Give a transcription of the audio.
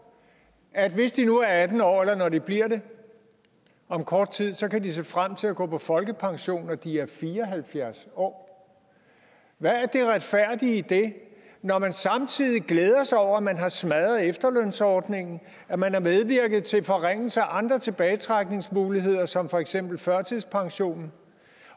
at hvis de nu er atten år eller bliver det om kort tid så kan de se frem til at gå på folkepension når de er fire og halvfjerds år hvad er det retfærdige i det når man samtidig glæder sig over at man har smadret efterlønsordningen og at man har medvirket til forringelser af andre tilbagetrækningsmuligheder som for eksempel førtidspension